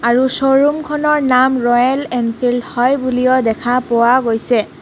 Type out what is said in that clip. আৰু স্ব'ৰুম খনৰ নাম ৰয়েল এনফিল্ড হয় বুলিও দেখা পোৱা গৈছে.